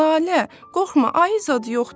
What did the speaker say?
Lalə, qorxma, ayı zad yoxdur.